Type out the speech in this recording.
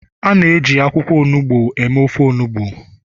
a na-eji akwukwo onugbu eme ofe onugbu